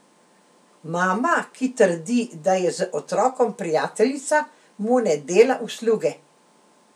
Mama, ki trdi, da je z otrokom prijateljica, mu ne dela usluge.